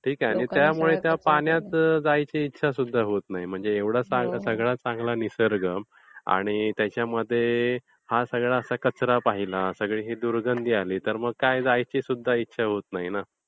आणि त्यामुळे त्या पाण्यात जायची इच्छा सुद्धा होत नाही, एवढा चांगला सगळा निसर्ग आणि त्याच्यामध्ये हा सगळा असा कचरा पाहिला सगळी ही दुर्गंधी आली तर मग काय जायची सुद्धा इच्छा होत नाही ना.